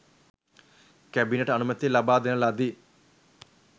cabinet අනුමැතිය ලබා දෙන ලදී